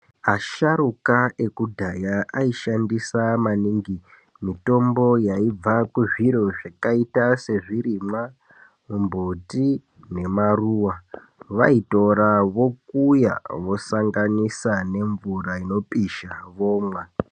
Asharukwa ekudhaya aishandisa maningi mitombo yaibva kuzviro yakaita sezvirimwa mumbuti nemaruwa ,vaitora vokuya vosanganisa nemvura inopisha vomwa .